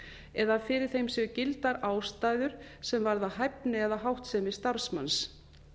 eða að fyrir þeim séu gildar ástæður sem varða hæfni eða háttsemi starfsmanns